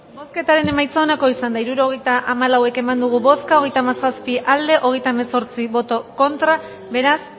bozketaren emaitza onako izan da hirurogeita hamalau eman dugu bozka hogeita hamazazpi boto aldekoa treinta y siete contra beraz